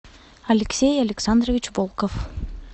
алексей александрович волков